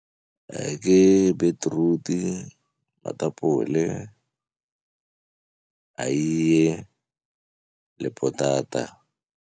Ke beetroot-i, matapole, eiye le potata.